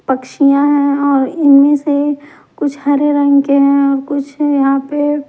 पक्षियां है और इनमे से कुछ हरे रंग के है और कुछ यहाँ पे -----